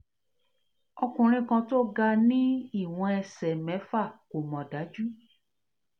ọkùnrin kan tó ga ni iwon ẹ̀sẹ̀ mẹ́fà kò mọ̀ daju